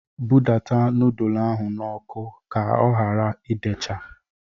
bụdata nudul ahụ n'ọkụ ka ọ hara idecha!